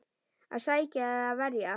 Að sækja eða verja?